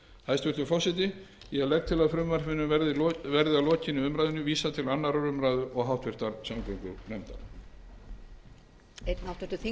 hæstvirtur forseti ég legg til að frumvarpinu verði að lokinni umræðunni vísað til annarrar umræðu og háttvirtrar samgöngunefndar